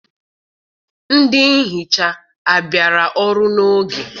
Ndị nhicha abịara ọrụ n'oge?